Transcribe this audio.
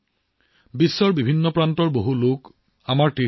ইয়াৰ দৰ্শনৰ বাবে এতিয়া আমাৰ তীৰ্থযাত্ৰালৈ সমগ্ৰ বিশ্বৰ পৰা মানুহ আহি আছে